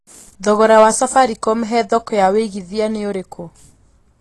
thogora wa safaricom he thoko ya wĩĩgĩthĩa ni ũrĩkũ